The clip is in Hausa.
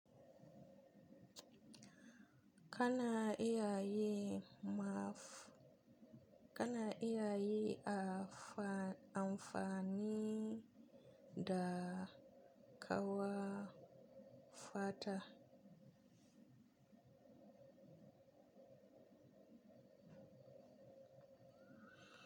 Kana iya yi maf-- kana iya yi amfani da kawafata.